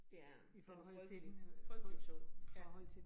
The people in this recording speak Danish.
Ja, den er frygtelig, frygtelig tung